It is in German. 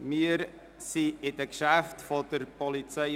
Wir sind bei den Geschäften der POM angelangt.